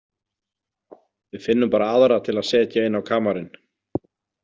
Við finnum bara aðra til að setja inn á kamarinn